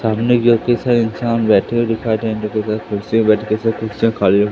सामने की ओर कई सारे इंसान बैठे हुए दिखाई दे रहे जो कि कुर्सियां खाली--